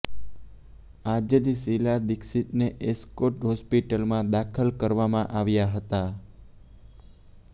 આજે જ શિલા દિક્ષિતને એસ્કોટ હોસ્પિટલમાં દાખલ કરવામાં આવ્યા હતા